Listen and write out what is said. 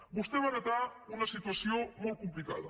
vostè va heretar una situació molt complicada